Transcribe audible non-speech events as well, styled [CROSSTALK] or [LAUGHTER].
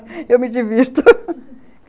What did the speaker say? [LAUGHS] eu me divirto [LAUGHS]